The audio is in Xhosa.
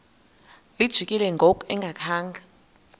lijikile ngoku engakhanga